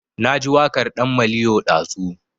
Na ji waƙar ɗan maliyo ɗazu